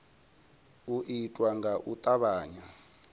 u itwa nga u tavhanya